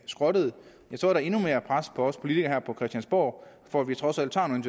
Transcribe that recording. skrottet er der endnu mere pres på os politikere her på christiansborg for at vi trods alt tager nogle